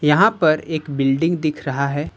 यहां पर एक बिल्डिंग दिख रहा है।